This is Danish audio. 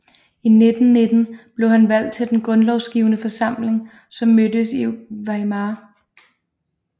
I 1919 blev han valgt til den grundlovsgivende forsamling som mødtes i Weimar